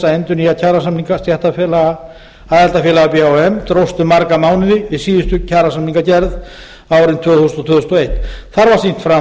endurnýja kjarasamninga stéttarfélaga aðildarfélaga b h m dróst um marga mánuði við síðustu kjarasamningagerð árin tvö hundruð og tvö þúsund og eitt þar var sýnt